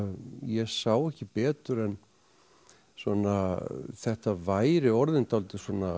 ég sá ekki betur en þetta væri orðin dálítið